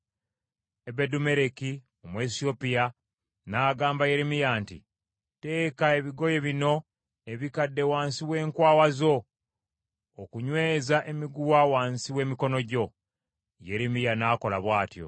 Ebedumeleki Omuwesiyopya n’agamba Yeremiya nti, “Teeka ebigoye bino ebikadde wansi w’enkwawa zo okunyweza emiguwa wansi w’emikono gyo.” Yeremiya n’akola bw’atyo.